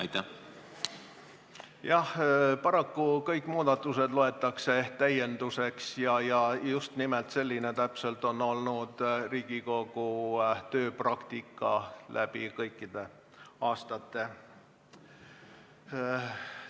Jah, paraku loetakse kõik muudatused täiendusteks ja just nimelt selline on olnud Riigikogu tööpraktika läbi kõikide aastate.